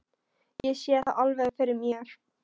Ég sé það alveg fyrir mér.